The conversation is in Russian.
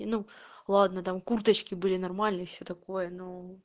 и ну ладно там курточки были нормальные и все такое но